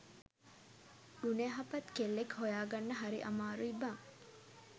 ගුණයහපත් කෙල්ලෙක් හොයාගන්න හරි අමාරුයි බං